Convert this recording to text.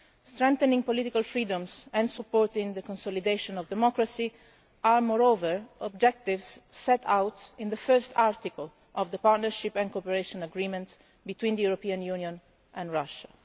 Strengthening political freedoms and supporting the consolidation of democracy are, moreover, objectives set out in the first article of the Partnership and Cooperation Agreement between the European Union and Russia.